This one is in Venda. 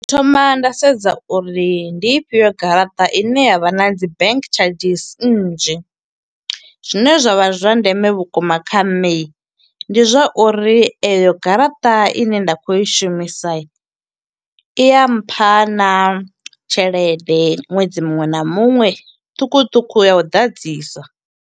Thoma nda sedza uri ndi ifhio garaṱa ine ya vha na dzi bank tshadzhisi nnzhi. Zwine zwa vha zwa ndeme vhukuma kha nṋe, ndi zwa uri eyo garaṱa ine nda kho i shumisa, i ya mpha naa tshelede ṅwedzi muṅwe na muṅwe ṱhukhu ṱhukhu ya u ḓadzisa.